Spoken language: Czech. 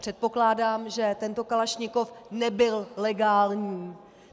Předpokládám, že tento kalašnikov nebyl legální.